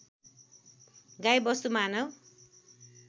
गाई वस्तु मानव